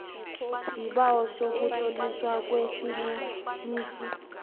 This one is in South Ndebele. isibawo sokutloliswa kwesinonisi